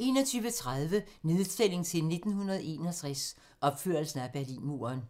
21:30: Nedtælling til 1961 - opførelsen af Berlinmuren